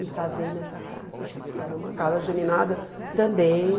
Me casei nessa casa, que era uma casa geminada também.